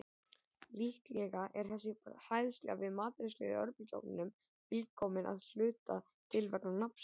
Líklega er þessi hræðsla við matreiðslu í örbylgjuofni til komin að hluta til vegna nafnsins.